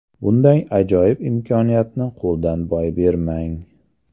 Bunday ajoyib imkoniyatni qo‘ldan boy bermang!